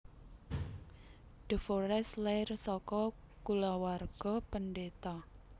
De forest lair saka kulawarga pendeta